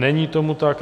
Není tomu tak.